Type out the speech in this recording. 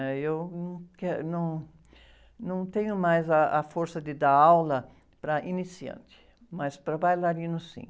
né? Eu não que, num, não tenho mais a força de dar aula para iniciantes, mas para bailarinos, sim.